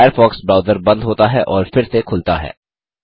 Firefox browser बंद होता हैऔर फिर से खुलता है